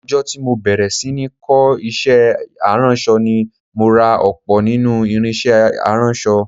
Ọjọ́ tí mo bẹ̀rẹ̀ sí ní kọ́ iṣẹ́ aránṣọ ni mo ra ọ̀pọ̀ nínú irinṣẹ́ aránṣọ